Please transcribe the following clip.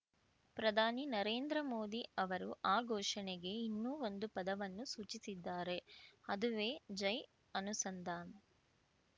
ಪ್ರಧಾನಿ ನರೇಂದ್ರ ಮೋದಿ ಅವರು ಆ ಘೋಷಣೆಗೆ ಇನ್ನೂ ಒಂದು ಪದವನ್ನು ಸೂಚಿಸಿದ್ದಾರೆ ಅದುವೇ ಜೈ ಅನುಸಂಧಾನ್‌